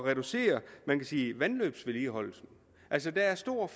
reducere vandløbsvedligeholdelse altså der er stor